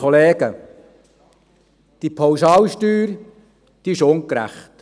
Die Pauschalsteuer ist ungerecht.